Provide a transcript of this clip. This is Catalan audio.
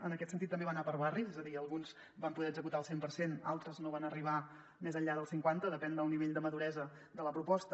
en aquest sentit també va anar per barris és a dir alguns en van poder executar el cent per cent d’altres no van arribar més enllà del cinquanta depenent del nivell de ma·duresa de la proposta